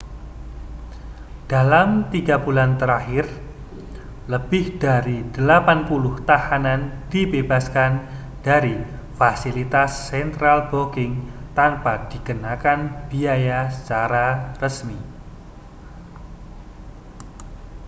dalam 3 bulan terakhir lebih dari 80 tahanan dibebaskan dari fasilitas central booking tanpa dikenakan biaya secara resmi